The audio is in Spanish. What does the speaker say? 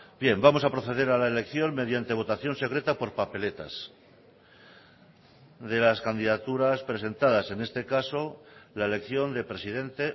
bien vamos a proceder a la elección mediante votación secreta por papeletas de las candidaturas presentadas en este caso la elección de presidente